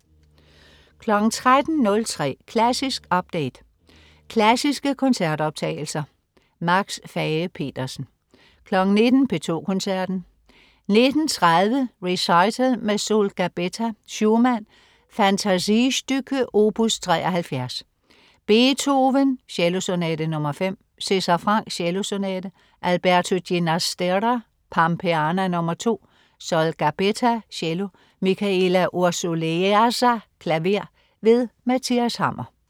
13.03 Klassisk update. Klassiske koncertoptagelser. Max Fage-Pedersen 19.00 P2 Koncerten. 19.30 Recital med Sol Gabetta. Schumann: Fantasiestücke, opus 73. Beethoven: Cellosonate nr. 5. César Franck: Cellosonate. Alberto Ginastera: Pampeana, nr. 2. Sol Gabetta, cello. Mihaela Ursuleasa, klaver. Mathias Hammer